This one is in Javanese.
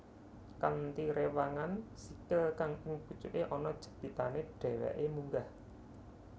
Kanthi réwangan sikil kang ing pucuké ana jepitané dhèwèké munggah